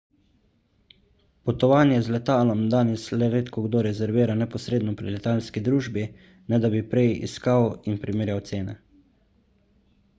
potovanje z letalom danes le redkokdo rezervira neposredno pri letalski družbi ne da bi prej iskal in primerjal cene